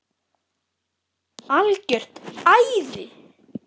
Algjört æði.